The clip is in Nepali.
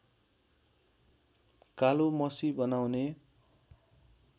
कालो मसी बनाउने